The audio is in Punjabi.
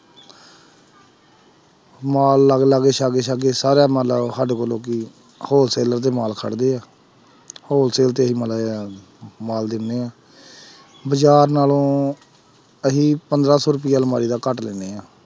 ਮਾਲ ਲਾਗੇ-ਲਾਗੇ, ਸਾਗੇ-ਸਾਗੇ ਸਾਰਾ ਮਤਲਬ ਸਾਡੇ ਕੋਲ ਲੋਕੀ wholesale ਤੇ ਮਾਲ ਹੈ wholesale ਤੇ ਅਸੀਂ ਮਾੜਾ ਜਿਹਾ ਮਾਲ ਦਿਨੇ ਹਾਂ ਬਾਜ਼ਾਰ ਨਾਲੋਂ ਅਸੀਂ ਪੰਦਰਾਂ ਸੌ ਰੁਪਇਆ ਅਲਮਾਰੀ ਦਾ ਘੱਟ ਲੈਂਦੇ ਹਾਂ।